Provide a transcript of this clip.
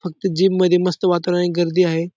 फक्त जिम मध्ये मस्त वातावरण आणि गर्दी आहे.